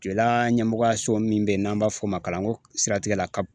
Joyila ɲɛmɔgɔyaso min bɛ ye n'an b'a fɔ o ma kalanko siratigɛ la CAP.